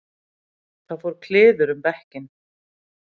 Það fór kliður um bekkinn.